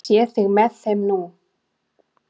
Ég sé þig með þeim nú.